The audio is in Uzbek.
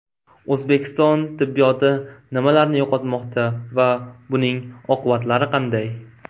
O‘zbekiston tibbiyoti nimalarni yo‘qotmoqda va buning oqibatlari qanday?